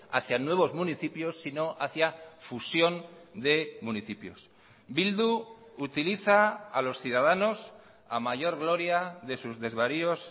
hacia nuevos municipios sino hacia fusión de municipios bildu utiliza a los ciudadanos a mayor gloria de sus desvaríos